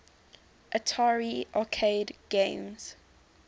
atari arcade games